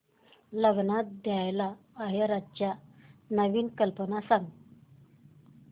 लग्नात द्यायला आहेराच्या नवीन कल्पना सांग